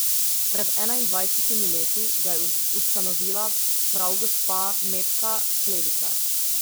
Pred enaindvajsetimi leti ga je ustanovila prav gospa Metka Klevišar.